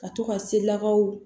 Ka to ka se lakaw